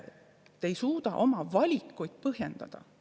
Te ei suuda oma valikuid põhjendada.